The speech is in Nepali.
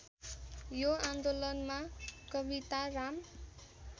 यो आन्दोलनमा कविताराम